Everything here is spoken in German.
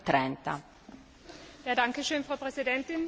Frau Präsidentin, liebe Kolleginnen und Kollegen!